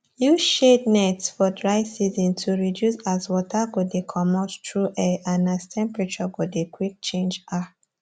use shade nets for dry season to reduce as water go de comot through air and as temperature go de quick change um